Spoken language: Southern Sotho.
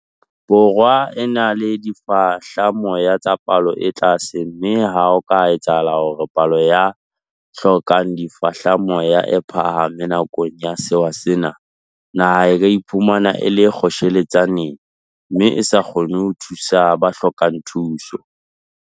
Borwa e na le difehlamoya tsa palo e tlase mme ha ho ka etsahala hore palo ya ba hlokang difehlamoya e phahame nakong ya sewa sena, naha e ka iphumana e le kgotjheletsaneng mme e sa kgone ho thusa ba hlokang thuso.